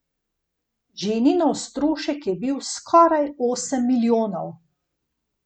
Ženinov strošek je bil skoraj osem milijonov.